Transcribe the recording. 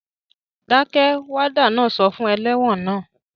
Dákẹ́! Wádà náà sọ fún ẹlẹ́wọ̀n naa